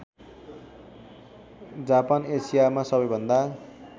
Japan एसियामा सबैभन्दा